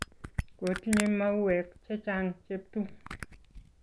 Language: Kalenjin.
Kotinye mauwek chechang' Jeptum